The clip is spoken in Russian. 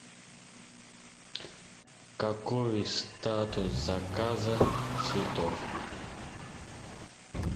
какой статус заказа цветов